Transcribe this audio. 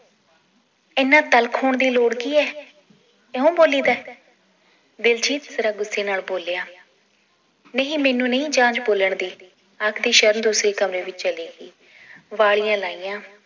ਇਹਨਾਂ ਤਿਲਕ ਹੋਣ ਦੀ ਲੋੜ ਕੀ ਏ ਇਹੋਂ ਬੋਲੀਦਾ ਏ ਦਿਲਜੀਤ ਜ਼ਰਾ ਗੁੱਸੇ ਨਾਲ ਬੋਲਿਆ ਨਹੀ ਮੈਨੂੰ ਨਹੀ ਜਾਂਚ ਬੋਲਣ ਦੀ ਆਖਦੀ ਸ਼ਰਨ ਦੂਸਰੇ ਕਮਰੇ ਵਿਚ ਚਲੀ ਗਈ ਵਾਲੀਆਂ ਲਾਈਆਂ